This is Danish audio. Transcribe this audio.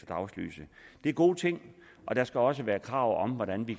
dagslyset det er gode ting og der skal også være krav om hvordan vi